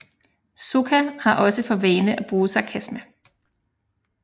Sokka har også for vane at bruge sarkasme